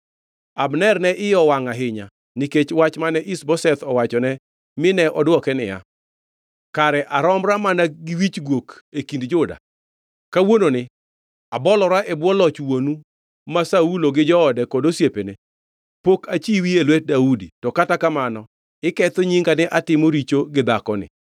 Abner ne iye owangʼ ahinya nikech wach mane Ish-Boseth owachone mine odwoke niya, “Kare aromra mana gi wich guok e kind Juda? Kawuononi abolora e bwo loch wuonu ma Saulo gi joode kod osiepene. Pok achiwi e lwet Daudi. To kata kamano, iketho nyinga ni atimo richo gi dhakoni!